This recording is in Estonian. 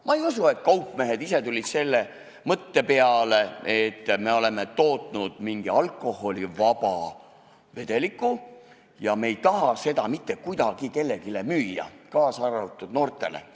Ma ei usu, et kaupmehed ise tulid selle mõtte peale, et on toodetud mingi alkoholivaba vedelik, aga me ei taha seda mitte kuidagi kellelegi müüa, kaasa arvatud noortele.